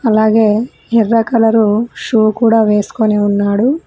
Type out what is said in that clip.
అలాగే ఎర్ర colour shoe కూడా వేస్కొని ఉన్నాడు.